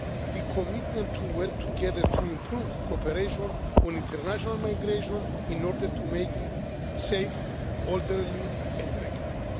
The commitment to work together to improve cooperation on international migration in order to make it safe, orderly and regular.